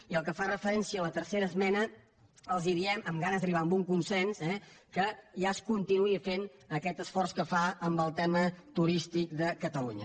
i pel que fa referència a la tercera esmena els diem amb ganes d’arribar a un consens eh que ja es continua fent aquest esforç que es fa amb el tema turístic de catalunya